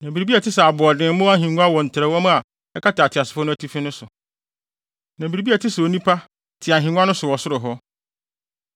Na biribi a ɛte sɛ aboɔdemmo ahengua wɔ ntrɛwmu a ɛkata ateasefo no atifi no so, na biribi a ɛte sɛ onipa te ahengua so wɔ ɔsoro hɔ.